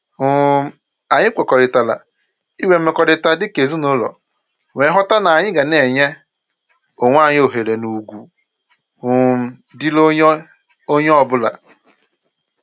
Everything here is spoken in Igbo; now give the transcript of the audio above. um Anyị kwekọrịtara inwe mmekọrịta dịka ezinụlọ nwee nghọta n'anyị ga na-enye onwe anyị ohere na ugwu um dịịrị onye onye ọbụla